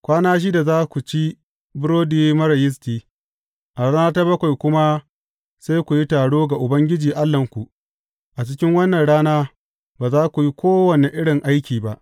Kwana shida za ku ci burodi marar yisti, a rana ta bakwai kuma sai ku yi taro ga Ubangiji Allahnku, a cikin wannan rana ba za ku yi kowane irin aiki ba.